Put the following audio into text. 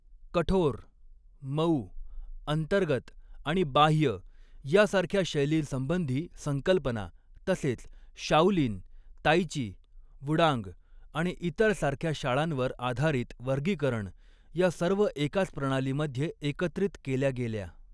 कठोर, मऊ, अंतर्गत आणि बाह्य यासारख्या शैलीसंबंधी संकल्पना, तसेच शाओलिन, ताई ची, वुडांग आणि इतर सारख्या शाळांवर आधारित वर्गीकरण या सर्व एकाच प्रणालीमध्ये एकत्रित केल्या गेल्या.